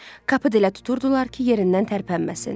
Kapı elə tuturdular ki, yerindən tərpənməsin.